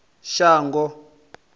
shango